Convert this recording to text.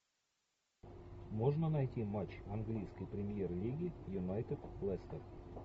можно найти матч английской премьер лиги юнайтед лестер